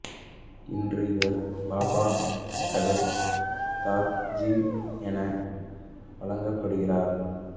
இன்று இவர் பாபா சகஜ் நாத் ஜி என வழிபடப்படுகின்றார்